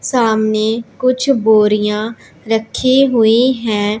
सामने कुछ बोरियां रखे हुई है।